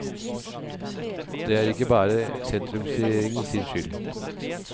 Det er ikke bare sentrumsregjeringen sin skyld.